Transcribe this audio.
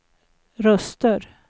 röster